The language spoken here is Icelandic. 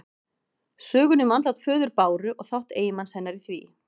Sögunni um andlát föður Báru og þátt eiginmanns hennar í því.